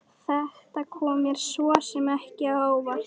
Þetta kom mér svo sem ekki á óvart.